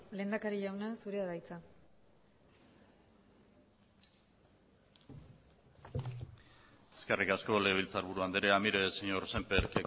lehendakari jauna zurea da hitza eskerrik asko legebiltzarburu andrea mire señor semper